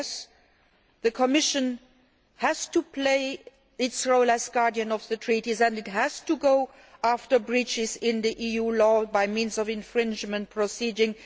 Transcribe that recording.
Yes, the Commission has to play its role as guardian of the Treaties and it has to go after breaches in EU law by means of infringement proceedings.